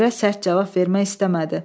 Müdirə sərt cavab vermək istəmədi.